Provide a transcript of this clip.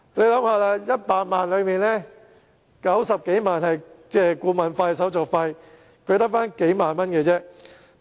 試想一下 ，100 萬元中有90多萬元是顧問費和手續費，他只得數萬元貸款。